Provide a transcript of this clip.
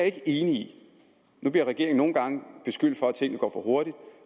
ikke enig i nu bliver regeringen nogle gange beskyldt for at tingene går for hurtigt